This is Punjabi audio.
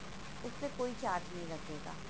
ਉਸਤੇ ਕੋਈ charge ਨਹੀਂ ਲੱਗੇਗਾ